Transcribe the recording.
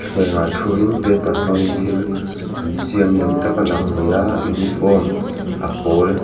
ah thu in paper hmang in thil an siam ni awm tak a lang a ni a uniform a pawl--